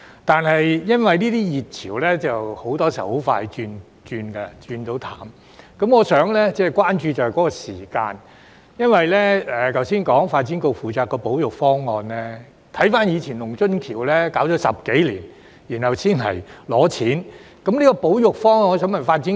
但是，由於這些熱潮很多時候很快便冷卻，我關注的是相關的時間表，因為剛才提到發展局負責該處的保育方案，但回顧過去的龍津橋保育耗時10多年，然後才提上來申請撥款。